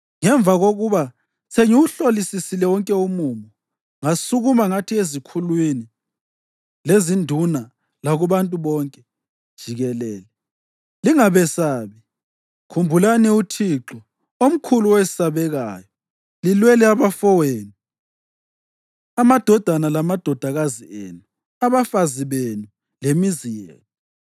Ngemva kokuba sengiwuhlolisisile wonke umumo, ngasukuma ngathi ezikhulwini, lezinduna lakubantu bonke jikelele, “Lingabesabi. Khumbulani uThixo, omkhulu owesabekayo, lilwele abafowenu, amadodana lamadodakazi enu, abafazi benu lemizi yenu.”